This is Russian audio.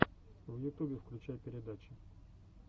в ютубе включай передачи